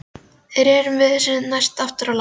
Rerum við þessu næst aftur í land.